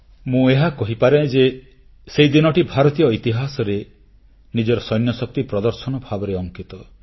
ମୁଁ ଏହା କହିପାରେ ଯେ ସେହିଦିନଟି ଭାରତୀୟ ଇତିହାସରେ ନିଜର ସୈନ୍ୟଶକ୍ତି ପ୍ରଦର୍ଶନ ଭାବରେ ଅଙ୍କିତ